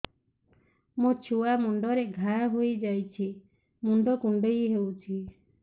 ମୋ ଛୁଆ ମୁଣ୍ଡରେ ଘାଆ ହୋଇଯାଇଛି ମୁଣ୍ଡ କୁଣ୍ଡେଇ ହେଉଛି